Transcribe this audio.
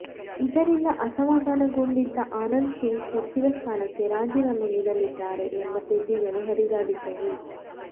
ಇದರಿಂದ ಅಸಮಾಧಾನಗೊಂಡಿದ್ದ ಆನಂದ್ ಸಿಂಗ್ ಸಚಿವ ಸ್ಥಾನಕ್ಕೆ ರಾಜೀನಾಮೆ ನೀಡಲಿದ್ದಾರೆ ಎಂಬ ಸುದ್ದಿಗಳು ಹರಿದಾಡಿದ್ದವು